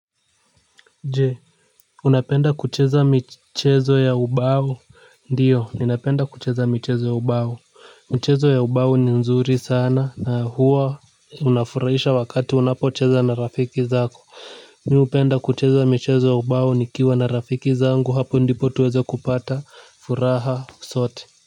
Je, unapenda kucheza michezo ya ubao? Ndio ninapenda kucheza michezo ya ubao. Michezo ya ubao ni nzuri sana na huwa unafurahisha wakati unapocheza na rafiki zako. Mi hupenda kucheza michezo ya ubao nikiwa na rafiki zangu hapo ndipo tuweze kupata furaha sote.